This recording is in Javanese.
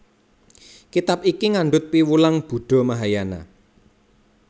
Kitab iki ngandhut piwulang Buddha Mahayana